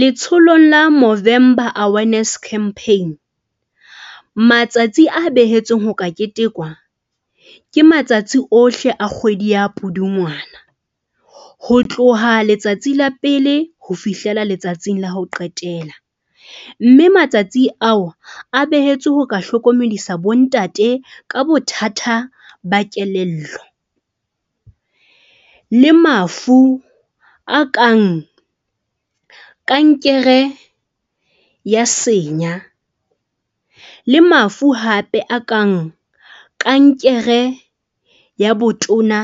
Letsholong la Movember Awareness Campaign. Matsatsi a behetsweng ho ka ketekwa, ke matsatsi ohle a kgwedi ya Pudungwana ho tloha letsatsi la pele ho fihlela letsatsing la ho qetela. Mme matsatsi ao a behetswe ho ka hlokomedisa bo ntate ka bothata ba kelello le mafu a kang kankere ya senya. Le mafu hape a kang kankere ya botona